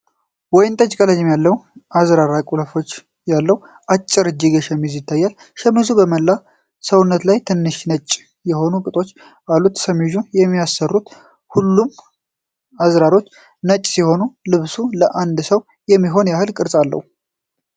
ወይን ጠጅ ቀለም ያለው የአዝራር ቁልፍ ያለው አጭር እጅጌ ሸሚዝ ይታያል። ሸሚዙ በመላ ሰውነቱ ላይ ትናንሽ ነጭ የሆኑ ቅጦች አሉት። ሸሚዙን የሚያስሩት ሁሉም አዝራሮች ነጭ ሲሆኑ፣ ልብሱ ለአንድ ሰው የሚሆን ያህል ቅርጽ አለው።